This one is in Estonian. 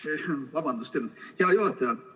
Hea juhataja!